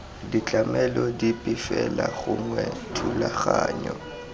ditlamelo dipe fela gongwe dithulaganyo